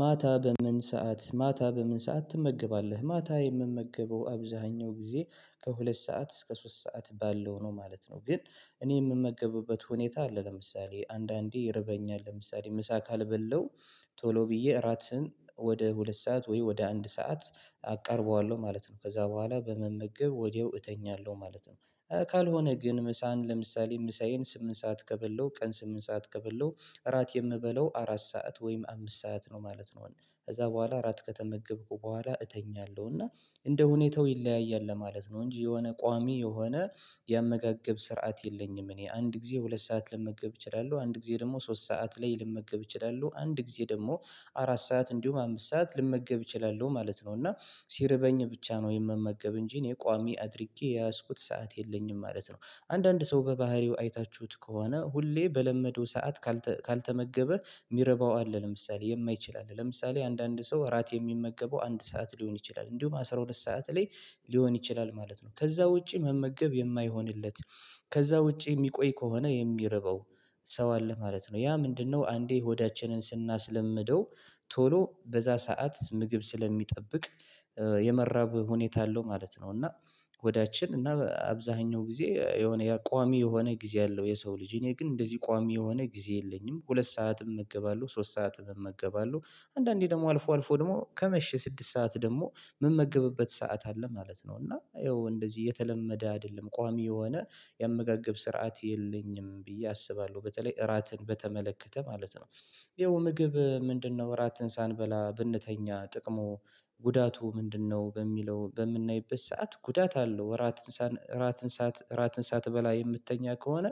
ማታ በምን ሰዓት ማታ በምን ሰዓት ትመገባለህ ማታ የምመገበው አብዛኛው ጊዜ ከሁለት ሰዓት እስከ ሶስት ሰዓት ባለው ነው ማለት ነው ግን እኔ የምመገበበት ሁኔታ አለ ለምሳሌ አንዳንዴ ይርበኛል ለምሳሌ ምሳ ካልበላው ቶሎ ብዬ እራትን ወደ ሁለት ሰዓት ወይ ወደ አንድ ሰዓት አቀርበዋለሁ ማለት ነው ከዛ በኋላ በመመገብ ወዲያው እተኛለሁ ማለት ነው ካልሆነ ግን ምሳን ለምሳሌ ምሳዬን ስምንት ሰዓት ከበላሁ ቀን ስምንት ሰዓት ከበላሁ እራት የምበለው አራት ሰዓት ወይም አምስት ሰዓት ነው ማለት ነው ከዛ በኋላ አራት ከተመገብኩ በኋላ እተኛለሁ። እና እንደ ሁኔታው ይለያያል ለማለት ነው እንጂ የሆነ ቋሚ የሆነ የመጋገብ ስርዓት የለኝም እኔ አንድ ጊዜ ሁለት ሰዓት ልመገብ እችላለሁ አንድ ጊዜ ደግሞ ሶስት ሰዓት ላይ ልመገብ እችላለሁ አንድ ጊዜ ደግሞ አራት ሰዓት እንዲሁም አምስት ሰዓት ልመገብ እችላለሁ ማለት ነው እና ሲርበኝ ብቻ ነው የምመገብ እንጂ እኔ ቋሚ አድርጌ የያዝኩት ሰዓት የለኝም ማለት ነው አንዳንድ ሰው በባህሪው አይታችሁት ከሆነ ሁሌ በለመደው ሰዓት ካልተመገበ የሚርባው አለ ለምሳሌ የማይችል አለ ለምሳሌ አንዳንድ ሰው እራት የሚመገበው አንድ ሰዓት ሊሆን ይችላል እንዲሁም አስራ ሁለት ሰዓት ላይ ሊሆን ይችላል ማለት ነው ከዛ ውጪ መመገብ የማይሆንለት ከዛ ውጪ የሚቆይ ከሆነ የሚርበው ሰው አለ ማለት ነው ያ ምንድነው አንዴ ሆዳችንን ስናስለምደው ቶሎ በዛ ሰዓት ምግብ ስለሚጠብቅ የመራብ ሁኔታ አለው ማለት ነው እና ሆዳችን እና አብዛኛው ጊዜ የሆነ ቋሚ የሆነ ጊዜ አለው የሰው ልጅ እኔ ግን እንደዚህ ቋሚ የሆነ ጊዜ የለኝም ሁለት ሰዓትም እመገባለሁ ሶስት ሰዓትም እመገባለሁ አንዳንዴ ደግሞ አልፎ አልፎ ደግሞ ከመሼ ስድስት ሰዓት ደግሞ ምመገብበት ሰዓት አለ ማለት ነው እና ይኸው እንደዚህ የተለመደ አይደለም ቋሚ የሆነ ያመጋገብ ስርዓት የለኝም ብዬ አስባለሁ በተለይ እራትን በተመለከተ ማለት ነው ይኸው ምግብ ምንድነው እራት ሳበላ ብንተኛ ጥቅሙ ጉዳቱ ምንድነው በሚለው በምናይበት ሰዓት ጉዳት አለው እራት ሳት እራት ሳት ሳትበላ የምትተኛ ከሆነ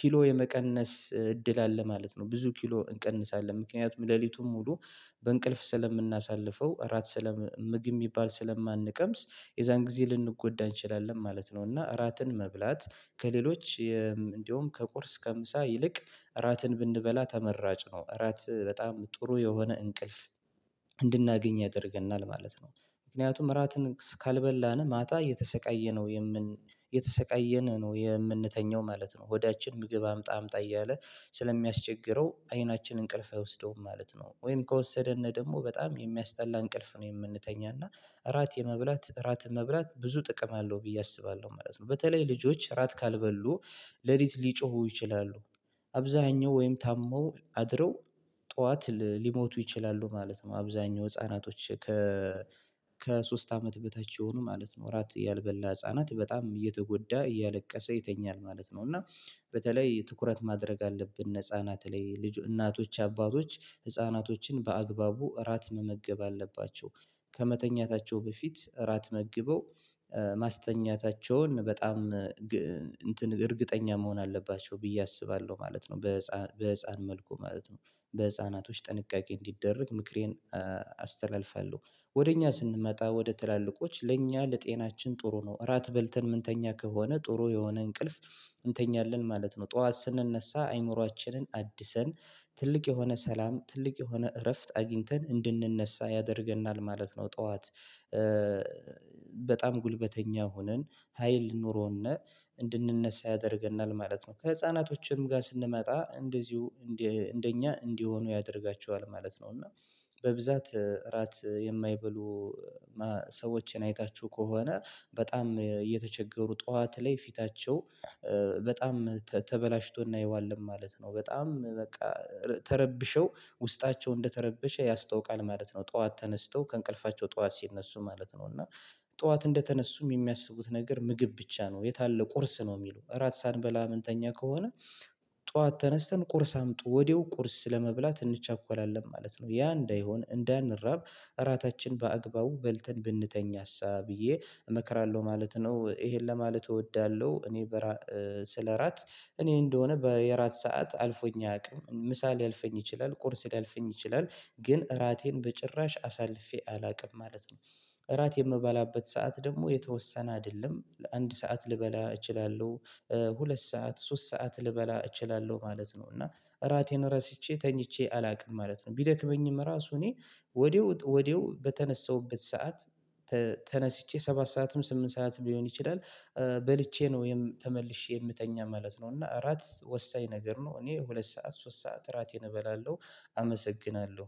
ኪሎ የመቀነስ እድል አለ ማለት ነው። ብዙ ኪሎ እንቀንሳለን ምክንያቱም ሌሊቱን ሙሉ በእንቅልፍ ስለምናሳልፈው እራት ስለ ምግብ የሚባል ስለማንቀምስ የዛን ጊዜ ልንጎዳ እንችላለን ማለት ነው እና እራትን መብላት ከሌሎች እንደውም ከቁርስ ከምሳ ይልቅ እራትን ብንበላ ተመራጭ ነው እራት በጣም ጥሩ የሆነ እንቅልፍ እንድናገኝ ያደርገናል ማለት ነው። ምክንያቱም እራትን ካልበላን ማታ እየተሰቃየ ነው የምን የተሰቀየነ ነው የምንተኘው ማለት ነው። ሆዳችን ምግብ አምጣ አምጣ እያለ ስለሚያስቸግረው አይናችን እንቅልፍ አይወስደውም ማለት ነው። ወይም ከወሰደን ደግሞ በጣም የሚያስጠላ እንቅልፍ ነው የምንተኛና እራት የመብላት እራት መብላት ብዙ ጥቅም አለው ብዬ አስባለሁ ማለት ነው በተለይ ልጆች እራት ካልበሉ ሌሊት ሊጮሁ ይችላሉ አብዛኛው ወይም ታመው አድረው ጠዋት ሊሞቱ ይችላሉ ማለት ነው አብዛኛው ህፃናቶች ከ ከሶስት አመት በታች የሆኑ ማለት ነው እራት ያልበላ ህፃናት በጣም እየተጎዳ እያለቀሰ ይተኛል ማለት ነው። እና በተለይ ትኩረት ማድረግ አለብን ህፃናት ላይ ልጅ እናቶች አባቶች ህፃናቶችን በአግባቡ እራት መመገብ አለባቸው ከመተኛታቸው በፊት እራት መግበው ማስተኛታቸውን በጣም እንትን እርግጠኛ መሆን አለባቸው ብዬ አስባለሁ ማለት ነው በህፃን መልኩ ማለት ነው በህፃናቶች ጥንቃቄ እንዲደረግ ምክሬን አስተላልፋለሁ። ወደ እኛ ስንመጣ ወደ ትላልቆች ለእኛ ለጤናችን ጥሩ ነው እራት በልተን ምንተኛ ከሆነ ጥሩ የሆነ እንቅልፍ እንተኛለን ማለት ነው። ጠዋት ስንነሳ አይምሮአችንን አድሰን ትልቅ የሆነ ሰላም ትልቅ የሆነ እረፍት አግኝተን እንድንነሳ ያደርገናል ማለት ነው ጠዋት በጣም ጉልበተኛ ሆነን ሀይል ኑሮነ እንድንነሳ ያደርገናል ማለት ነው ከህፃናቶችም ጋር ስንመጣ እንደዚሁ እንደ እኛ እንዲሆኑ ያደርጋቸዋል ማለት ነው እና በብዛት እራት የማይበሉ ሰዎችን አይታችሁ ከሆነ በጣም እየተቸገሩ ጠዋት ላይ ፊታቸው በጣም ተበላሽቶ እናየዋለን ማለት ነው። በጣም በቃ ተረብሸው ውስጣቸው እንደተረበሸ ያስታውቃል ማለት ነው። ጠዋት ተነስተው ከእንቅልፋቸው ጠዋት ሲነሱ ማለት ነው እና ጠዋት እንደተነሱም የሚያስቡት ነገር ምግብ ብቻ ነው የት አለ ቁርስ ነው የሚሉ እራት ሳንበላ ምንተኛ ከሆነ ጠዋት ተነስተን ቁርስ አምጡ? ወዲያው ቁርስ ለመብላት እንቸኮላለን ማለት ነው። ያ እንዳይሆን እንዳንራብ እራታችን በአግባቡ በልተን ብንተኛ እሳ ብዬ እመክራለሁ ማለት ነው ይሄን ለማለት እወዳለሁ እኔ ስለራት እኔ እንደሆነ በአራት ሰዓት አልፎኝ አያውቅም። ምሳ ሊያልፈኝ ይችላል ቁርስ ሊያልፈኝ ይችላል ግን እራቴን በጭራሽ አሳልፌ አላውቅም ማለት ነው። እራት የምበላበት ሰዓት ደግሞ የተወሰነ አይደለም አንድ ሰዓት ልበላ እችላለሁ ሁለት ሰዓት ሶስት ሰዓት ልበላ እችላለሁ ማለት ነው እና እራቴን ረስቼ ተኝቼ አላውቅም ማለት ነው ቢደክመኝም ራሱ እኔ ወዴው ወዴው በተነሳሁበት ሰዓት ተነስቼ ሰባት ሰዓትም ስምንት ሰዓት ሊሆን ይችላል በልቼ ነው ወይም ተመልሼ የምተኛ ማለት ነው እና እራት ወሳኝ ነገር ነው እኔ ሁለት ሰዓት ሶስት ሰዓት እራቴን እበላለሁ አመሰግናለሁ